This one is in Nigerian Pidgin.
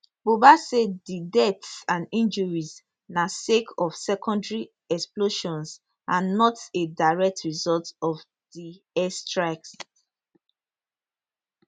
buba say di deaths and injuries na sake of secondary explosions and not a direct result of di airstrikes